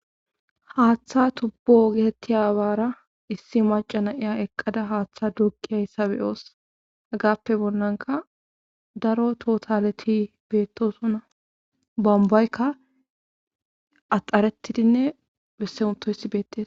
haaththa tubbo getetti aawaara issi macana iya eqqada haaththa dugiyayssabe oos agappe bonnanka daro totaleti beettosuna bombaykka axaretidinne bessemutoysi beettes